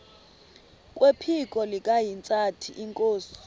kwephiko likahintsathi inkosi